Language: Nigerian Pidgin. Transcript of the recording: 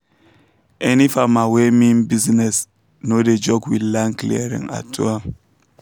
any farmer wey mean business um no dey joke with land clearing at all